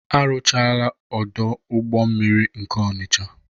Arụchaala ọdụ ụgbọ mmiri nke Ọnicha.